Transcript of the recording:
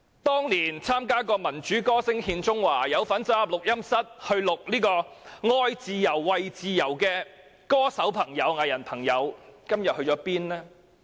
當年曾經參加"民主歌聲獻中華"，或走進錄音室參與錄製"愛自由、為自由"的歌手和藝人，今天究竟去了哪裏？